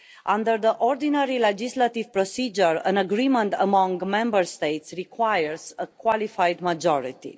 Under the ordinary legislative procedure, an agreement among Member States requires a qualified majority.